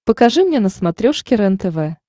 покажи мне на смотрешке рентв